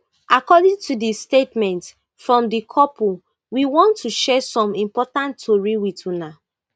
according to di statement from di couple we want to share some important tori wit una